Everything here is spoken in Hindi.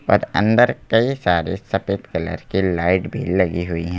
और अंदर कई सारे सफेद कलर की लाइट भी लगी हुई है।